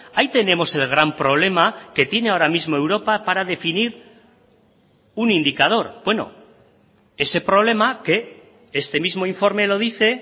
ahí tenemos el gran problema que tiene ahora mismo europa para definir un indicador bueno ese problema que este mismo informe lo dice